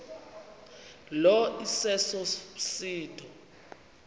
lo iseso msindo